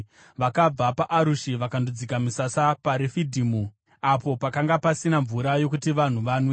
Vakabva paArushi vakandodzika misasa paRefidhimu, apo pakanga pasina mvura yokuti vanhu vanwe.